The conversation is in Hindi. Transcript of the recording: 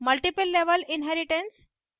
multiple level inheritance